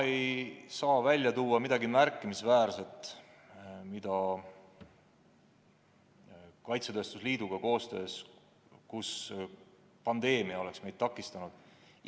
Ma ei saa välja tuua midagi märkimisväärset, mida pandeemia on kaitsetööstuse liiduga koostöö tegemisel takistanud.